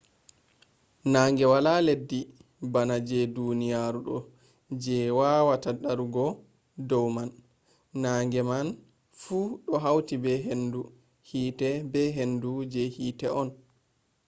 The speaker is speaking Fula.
nange wala leddi bana je duniyaru do je a wawata darugo do man. nange maan fu do hauti be hendu hite be hendu je hite on